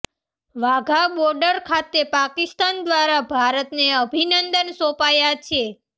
વાઘા border ખાતે પાકિસ્તાન દ્વારા ભારતને અભિનંદન સોંપાયા છે